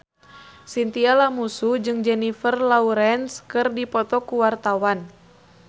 Chintya Lamusu jeung Jennifer Lawrence keur dipoto ku wartawan